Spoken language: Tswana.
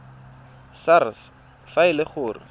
sars fa e le gore